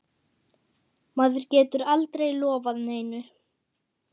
Maður getur aldrei lofað neinu.